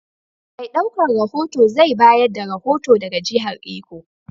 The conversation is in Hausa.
Mai ɗaukan rohoto zai bayar da rohoto daga jihar Iko.